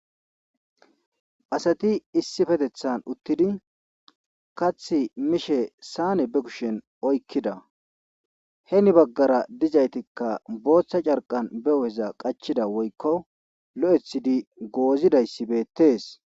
asati issi fetethan uttidi kath mishe saane be kushen oykkida he ni baggara dizaytikka booththa carqan be uheza qachida woykko lo7ethidi goozidayssi beettees